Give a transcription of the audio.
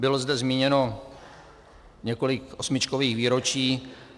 Bylo zde zmíněno několik osmičkových výročí.